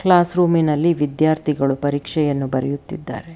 Class ರೂಮಿನಲ್ಲಿ ವಿಧ್ಯಾರ್ಥಿಗಳು ಪರೀಕ್ಷೆಯನ್ನು ಬರೆಯುತ್ತಿದ್ದಾರೆ.